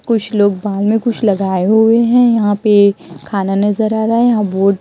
कुछ लोग बाद में कुछ लगाए हुवे है यहां पे खाना नजर आ रहा हैं यहां बोर्ड --